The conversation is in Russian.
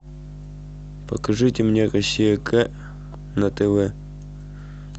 покажите мне россия к на тв